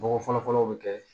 Nɔgɔ fɔlɔ fɔlɔ o bɛ kɛ